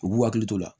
U b'u hakili to la